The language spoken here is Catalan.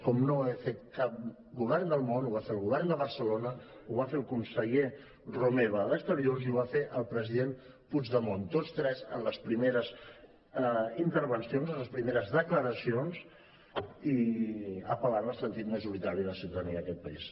com no ho havia fet cap govern del món ho va fer el govern de barcelona ho va fer el conseller romeva d’exterior i ho va fer el president puigdemont tots tres en les primeres intervencions en les primeres declaracions i apel·lant al sentir majoritari de la ciutadania d’aquest país